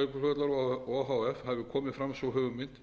hafi komið fram sú hugmynd